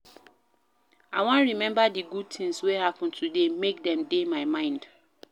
I wan rememba di good tins wey happen today make dem dey my mind